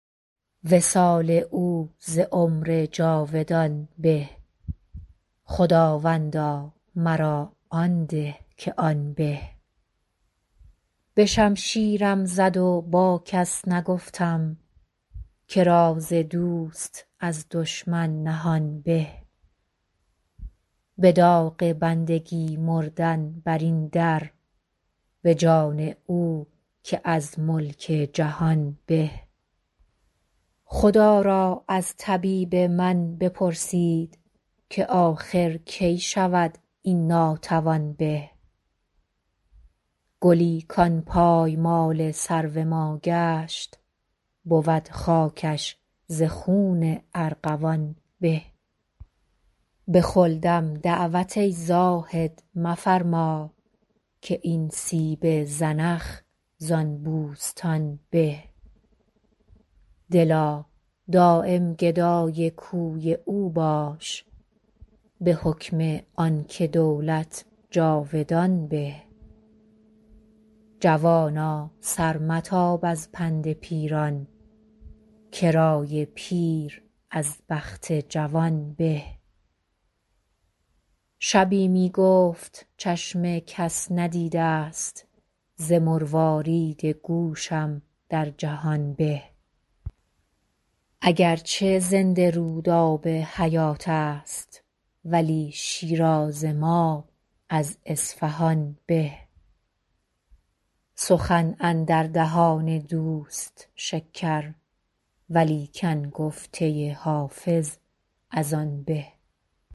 وصال او ز عمر جاودان به خداوندا مرا آن ده که آن به به شمشیرم زد و با کس نگفتم که راز دوست از دشمن نهان به به داغ بندگی مردن بر این در به جان او که از ملک جهان به خدا را از طبیب من بپرسید که آخر کی شود این ناتوان به گلی کان پایمال سرو ما گشت بود خاکش ز خون ارغوان به به خلدم دعوت ای زاهد مفرما که این سیب زنخ زان بوستان به دلا دایم گدای کوی او باش به حکم آن که دولت جاودان به جوانا سر متاب از پند پیران که رای پیر از بخت جوان به شبی می گفت چشم کس ندیده ست ز مروارید گوشم در جهان به اگر چه زنده رود آب حیات است ولی شیراز ما از اصفهان به سخن اندر دهان دوست شکر ولیکن گفته حافظ از آن به